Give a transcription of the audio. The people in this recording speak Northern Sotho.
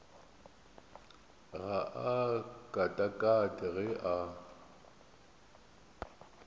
ga a katakate ge a